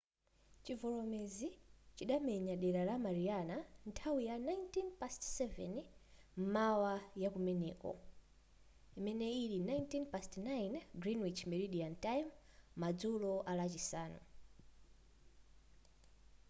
chivomerezi chidamenya dera la mariana nthawi ya 07:19 m'mawa yakumeneko 09:19 gmt madzulo alachisanu